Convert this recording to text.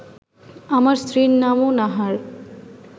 আমার স্ত্রীর নামও নাহার